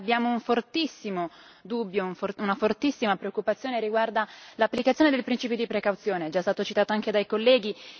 Abbiamo un fortissimo dubbio, una fortissima preoccupazione riguardante l'applicazione del principio di precauzione, che è già stato citato anche dai colleghi.